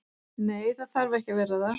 Nei, það þarf ekki að vera það.